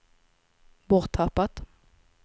borttappat